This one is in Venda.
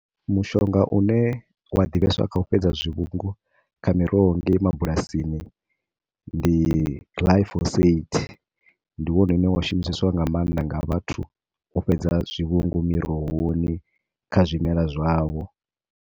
Mushonga une wa ḓivheswa kha u fhedza zwivhungu kha miroho ngei mabulasini ndi Glyphosate. Ndi wone une wa shumiseswa nga maanḓa nga vhathu u fhedza zwivhungu mirohoni kha zwimelwa zwavho.